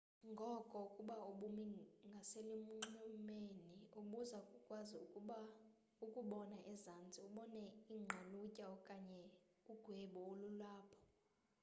ngoko ukuba ubumi ngaselunxwemeni ubuza kukwazi ukubona ezantsi ubone iingqalutya okanye ugwebu olulapho